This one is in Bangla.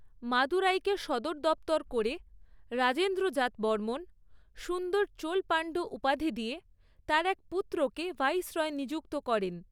মাদুরাইকে সদর দপ্তর করে, রাজেন্দ্র জাতবর্মন সুন্দর চোল পান্ড্য উপাধি দিয়ে, তার এক পুত্রকে ভাইসরয় নিযুক্ত করেন।